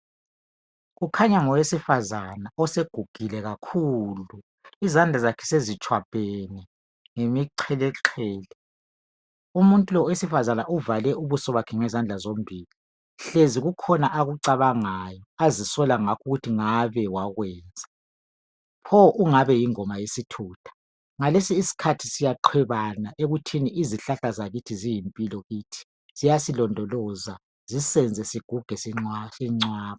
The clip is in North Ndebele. kukhanya ngowesifazana osegugile kakhulu izandla zakhe sezitshwabhene ngemiqeleqele umuntu lowu owesifazana uvale ubuso bakhe ngezandla zombili hlezi kukhona akucabangayo azisola ngakho ukuthi ngabe wakwenza pho ungabe yingoma yesithutha ngalesi isikhathi siyaqwebana ekuthini izihlahla zakithi ziyimpilo kithi ziyasilondoloza zisenze siguge